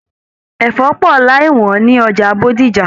Ẹfọ pọ láì wọn ni ọjà Bódìjà.